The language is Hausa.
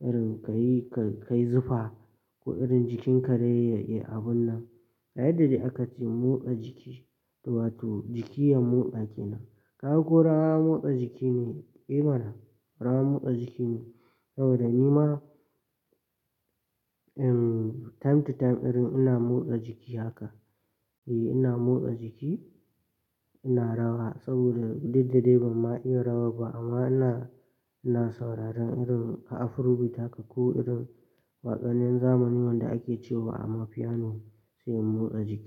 irin ka yi ka-ka yi zufa ko irin jikinka dai ya-yai abun nan, saboda irin ka manta yana irin ebe ma kewa saboda kana tunani tare da mutane. Wato jiki ya motsa kenan. Ka ga ko rawa motsa jiki ne, eh mana, rawa motsa jiki ne. Saboda ni ma, ehm, time to time irin ina motsa jiki haka. E, ina motsa jiki, ina rawa, saboda didda dai ban ma iya rawar ba, amma ina, ina sauraron irin Afurobeat haka, ko irin waƙannin zamanin nan da ake cewa amma piano, sai in motsa jiki.